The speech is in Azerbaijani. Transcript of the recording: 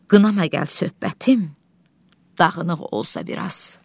Qınama gəl söhbətim, dağınıq olsa biraz.